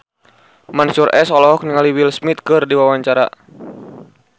Mansyur S olohok ningali Will Smith keur diwawancara